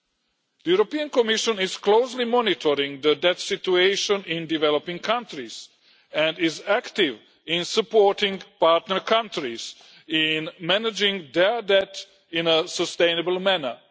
The European Commission is closely monitoring the debt situation in developing countries and is active in supporting partner countries in managing their debt in a sustainable manner.